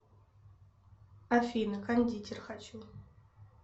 афина кондитер хочу